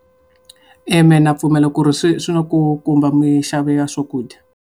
E mina na pfumela ku ri swi swi na ku khumba minxavo ya swakudya.